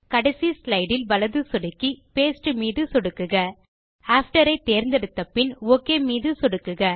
கடைசி ஸ்லைடு மீது வலது சொடுக்கி பாஸ்டே மீது சொடுக்குக ஜிடிஜிடி ஆஃப்டர் ஐ தேர்ந்தெடுத்த பின் ஒக் மீது சொடுக்குக